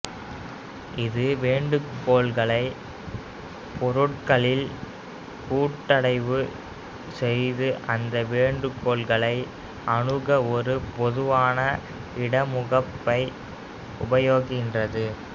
இது வேண்டுகோள்களை பொருட்களில் கூட்டடைவு செய்து அந்த வேண்டுகோள்களை அணுக ஒரு பொதுவான இடமுகப்பை உபயோகிக்கின்றது